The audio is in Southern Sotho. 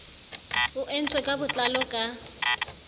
o entswe ka botlalo ka